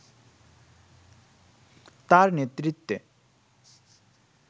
তার নেতৃত্বে